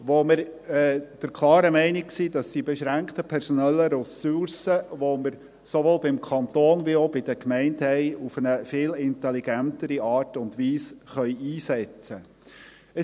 Diesbezüglich sind wir der klaren Meinung, dass wir die beschränkten personellen Ressourcen, die wir sowohl beim Kanton wie auch bei den Gemeinden haben, auf eine viel intelligentere Art und Weise einsetzen können.